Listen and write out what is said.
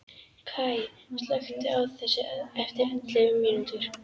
Kaj, slökktu á þessu eftir ellefu mínútur.